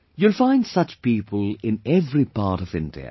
You will find such people in every part of India